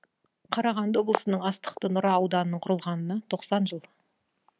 қарағанды облысының астықты нұра ауданының құрылғанына тоқсан жыл